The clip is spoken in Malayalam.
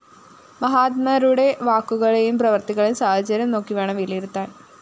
മഹാത്മാരുടെ വാക്കുകളെയും പ്രവൃത്തികളെയും സാഹചര്യം നോക്കിവേണം വിലയിരുത്താന്‍